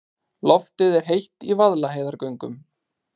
Loftið er heitt í Vaðlaheiðargöngum.